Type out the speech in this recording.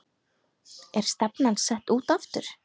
Er stefnan sett út aftur?